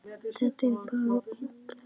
Þetta er bara algert ólán.